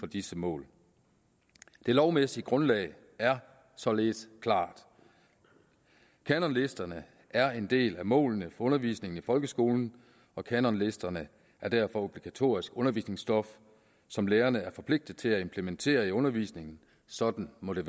disse mål det lovmæssige grundlag er således klart kanonlisterne er en del af målene for undervisningen i folkeskolen og kanonlisterne er derfor obligatorisk undervisningsstof som lærerne er forpligtede til at implementere undervisningen sådan må det